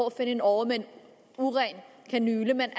at finde en åre med en uren kanyle men